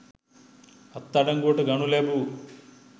අත්අඩංගුවට ගනු ලැබූ